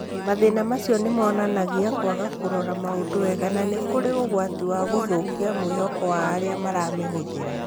Mathĩna macio nĩ monanagia kwaga kũrora maũndũ wega na nĩ kũrĩ ũgwati wa gũthũkia mwĩhoko wa arĩa maramĩhũthĩra.